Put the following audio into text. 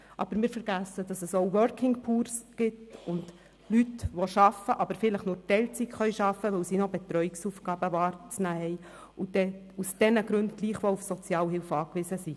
Aber wir vergessen, dass es auch «Working Poor» sowie Leute gibt, die zwar arbeiten, aber das vielleicht nur in Teilzeit tun können, da sie noch Betreuungsaufgaben wahrzunehmen haben und deshalb gleichwohl auf Sozialhilfe angewiesen sind.